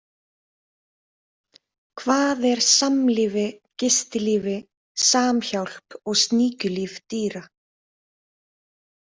Hvað er samlífi, gistilífi, samhjálp og sníkjulíf dýra?